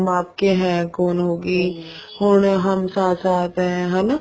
ਹਮ ਆਪਕੇ ਹੈ ਕੋਣ ਹੋਗੀ ਹੁਣ ਹਮ ਸਾਥ ਸਾਥ ਹੈ ਹਨਾ